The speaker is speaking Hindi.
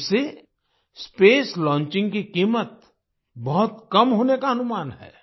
इससे स्पेस लॉन्चिंग की कीमत बहुत कम होने का अनुमान है